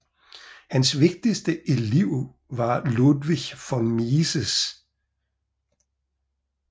Hans vigtigste elev var Ludwig von Mises